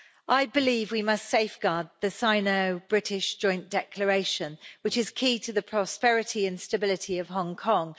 I believe we must safeguard the Sino British Joint Declaration, which is key to the prosperity and stability of Hong Kong.